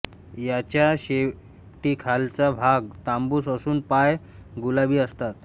याच्या शेपटीखालचा भाग तांबूस असून पाय गुलाबी असतात